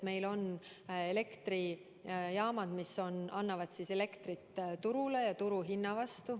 Meil on elektrijaamad, mis toodavad elektrit turule ja turuhinna eest.